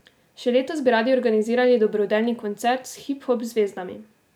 Še letos bi radi organizirali dobrodelni koncert s hiphop zvezdami.